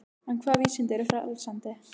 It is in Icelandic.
En hvaða vísindi eru frelsandi?